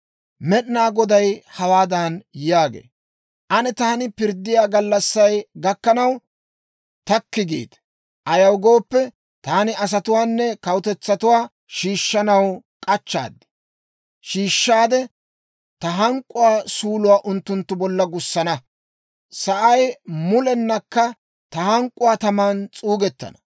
Med'inaa Goday hawaadan yaagee, «Ane taani pirddiyaa gallassay gakkanaw, takki giite. Ayaw gooppe, taani asatuwaanne kawutetsatuwaa shiishshanaw k'achchaad; shiishshaade ta hank'k'uwaa suuluwaa unttunttu bolla gussana. Sa'ay mulennakka ta hank'k'uwaa taman s'uugettana.